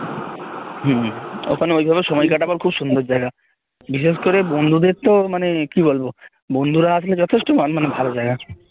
হম ওখানে ওই ভাবে সময় কাটানোর খুব সুন্দর জায়গা বিশেষ করে বন্ধুদের তো মানে কি বলবো বন্ধুরা আসলে যথেষ্ট মানে ভালো জায়গা